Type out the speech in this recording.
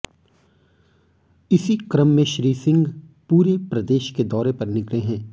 इसी क्रम में श्री सिंह पूरे प्रदेश के दौरे पर निकले है